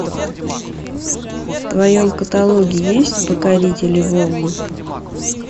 в твоем каталоге есть покорители волн